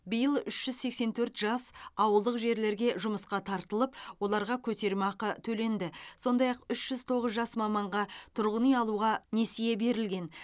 биыл үш жүз сексен төрт жас ауылдық жерлерге жұмысқа тартылып оларға көтерме ақы төленді сондай ақ үш жүз тоғыз жас маманға тұрғын үй алуға несие берілген